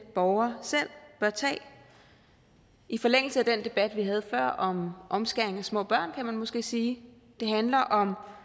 borger selv bør tage i forlængelse af den debat vi havde før om omskæring af små børn kan man måske sige det handler om